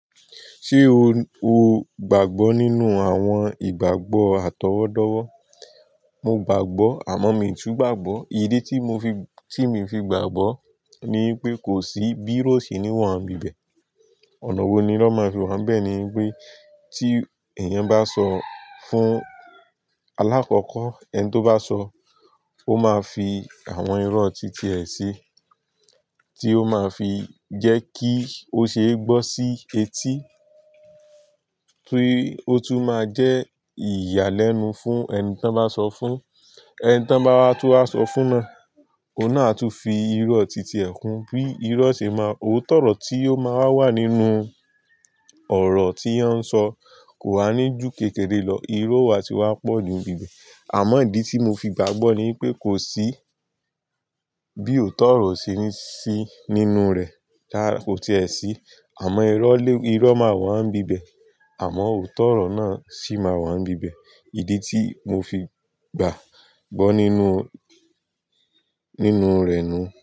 Ṣé o, o gbàgbọ́ nínú àwọn ìgbàgbọ́ àtọwọ́dọ́wọ́? Mo gbàgbọ́ àmọ́ mii tún gbàgbọ́. Ìdí tí mo fi, tí mii fi gbàgbọ́ ni wípé kò sí bí iró o ṣe ní wa ni ibí ibẹ̀. Ọ̀nà wo ni iro máa fi wa ni ibẹ̀ ni wípé tí èèyàn bá sọ fún alákọ̀kọ́, ẹni tó bá sọ, ó máa fi àwọn irọ́ ti ti e sì tí ó máa fi jẹ́ kí ó ṣe é gbọ́ sí etí, tí ó tún máa jẹ́ ìyàlẹ́nu fún ẹni tí wọ́n bá sọ fún. Ẹni tí wọ́n bá wá tún wa sọ fún naa, òun náà a tún fi irọ́ ti ti ẹ kún. Bí irọ́ ṣe máa, òótọ́rọ́ tí ó máa wà wa nínú ọ̀rọ̀ tí won n sọ kò wá ní ju kékeré lọ. Irọ́ o wa ti wá pọ̀ju ní ibi ìbẹ̀. Àmọ́ ìdí tí mo fi gbàgbọ́ ni wípé kò sí bí òótọ́ orọ́ o ṣe ní sí nínú rẹ̀, kò ti è sí. Àmọ́ irọ́ lé, irọ́ máa wa ni ibí ibẹ̀. Àmọ́ òótọ́rọ́ náà sì máa wọ́n bíbẹ̀. Ìdí tí mo fi gbàgbọ́ nínú, nínú rẹ̀ nu.